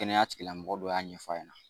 Kɛnɛya tigi lamɔgɔ dɔ y'a ɲɛfɔ ɲɛna.